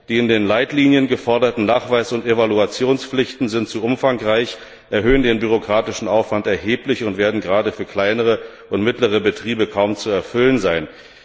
Die in den Leitlinien geforderten Nachweis und Evaluationspflichten sind zu umfangreich, erhöhen den bürokratischen Aufwand erheblich und werden gerade für kleine und mittlere Betriebe kaum zu erfüllen sein.